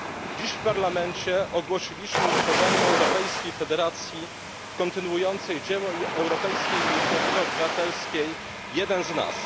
Dziś w Parlamencie ogłosiliśmy utworzenie Europejskiej Federacji kontynuującej dzieło europejskiej inicjatywy Jeden z Nas.